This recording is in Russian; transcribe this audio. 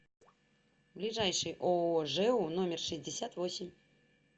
ближайший ооо жэу номер шестьдесят восемь